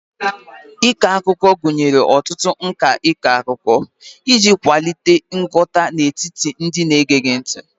Ịkọ akụkọ gụnyere ọtụtụ nka ịkọ akụkọ iji kwalite nghọta n'etiti ndị na-ege gị ntị